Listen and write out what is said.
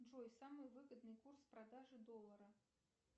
джой самый выгодный курс продажи доллара